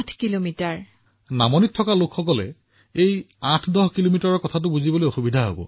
প্ৰধানমন্ত্ৰীঃ আচ্ছা নামনিত বাস কৰা লোকসকলে ৮১০ কিলোমিটাৰৰ হিচাপটো বুজি নাপাব